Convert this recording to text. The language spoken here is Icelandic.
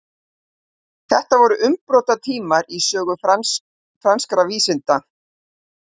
þetta voru umbrotatímar í sögu franskra vísinda